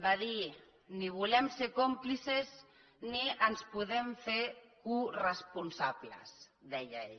va dir ni en volem ser còmplices ni ens en podem fer coresponsables deia ell